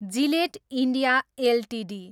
Gillette India Ltd